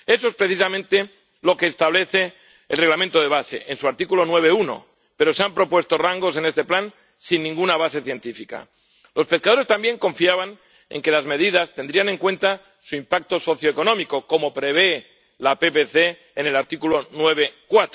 Eso es precisamente lo que establece el Reglamento de base en su artículo 9, apartado 1, pero, en este plan, se han propuesto rangos sin ninguna base científica. Los pescadores también confiaban en que las medidas tendrían en cuenta su impacto socioeconómico, como prevé la PPC en el artículo 9, apartado